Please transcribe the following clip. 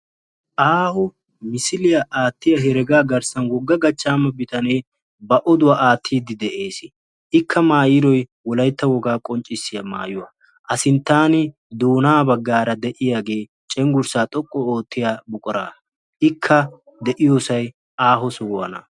Aaho misiliya aatiya heregaa garssan wogga gachchaama bitane ba oduwa attiidi de'ees. Ikka maayiydoy wolaytta wogaa qonccissiya maayuwa. A sinttan doonaa baggaara de'iyaagee cenggurssaa xoqqu oottiya buquraa ikka de'iyosay aaho sohuwana.